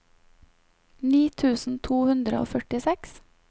ni tusen to hundre og førtiseks